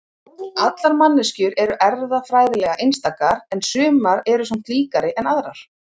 allar manneskjur eru erfðafræðilega einstakar en sumar eru samt líkari en aðrar